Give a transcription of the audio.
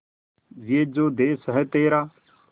ये जो देस है तेरा